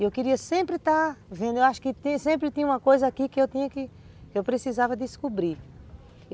Eu queria sempre estar vendo, eu acho que sempre tinha uma coisa aqui que eu precisava descobrir.